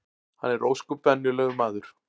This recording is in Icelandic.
Hann er ósköp venjulegur maður